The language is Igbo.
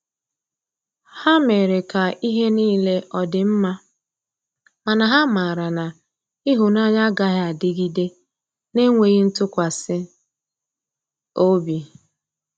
Ha mere ka ihe nile ọdi mma, mana ha mara na ihunanya agaghi adịgide n'enweghi ntụkwasi ọbị.